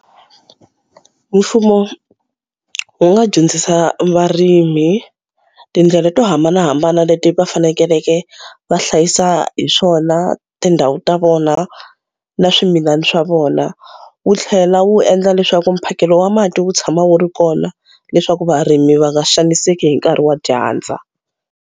Mfumo wu nga dyondzisa varimi tindlela to hambanahambana leti va fanekeleke va hlayisa hi swona tindhawu ta vona na swimilana swa vona. Wu tlhela wu endla leswaku mphakelo wa mati wu tshama wu ri kona leswaku varimi va nga xaniseki hi nkarhi wa dyandza.